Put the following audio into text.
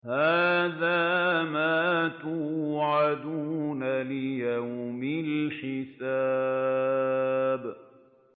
هَٰذَا مَا تُوعَدُونَ لِيَوْمِ الْحِسَابِ